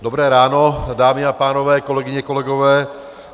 Dobré ráno, dámy a pánové, kolegyně, kolegové.